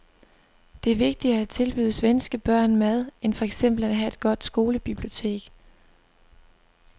Det er vigtigere at tilbyde svenske børn mad end for eksempel at have et godt skolebibliotek.